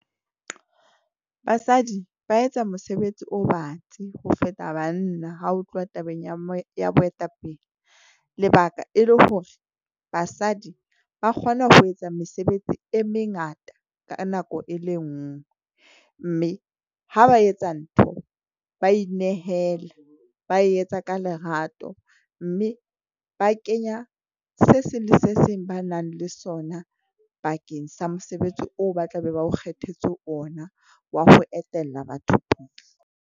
Basadi ba etsa mosebetsi o batsi ho feta banna ha o tluwa tabeng ya mo ya boetapele. Lebaka e le hore basadi ba kgona ho etsa mesebetsi e mengata ka nako e le nngwe mme ha ba etsa ntho, ba inehela. Ba e etsa ka lerato mme ba kenya se seng le se seng ba nang le sona bakeng sa mosebetsi oo ba tla be ba o kgethetse ona wa ho etella batho pele.